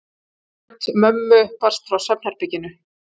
Rödd mömmu barst frá svefnherberginu.